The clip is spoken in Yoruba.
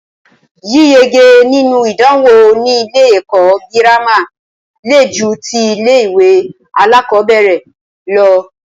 Yíyege nínú ìdánwò ní ilé ẹ̀kọ́ gírámà le ju tí ilé ìwé alákọ̀berẹ̀ lọ.